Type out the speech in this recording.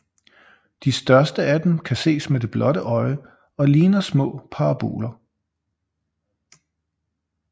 De største af dem kan ses med det blotte øje og ligner små parasoller